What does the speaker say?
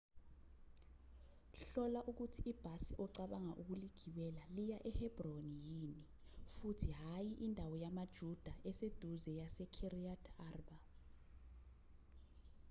hlola ukuthi ibhasi ocabanga ukuligibela liya ehebroni yini futhi hhayi indawo yamajuda eseduze yasekiryat arba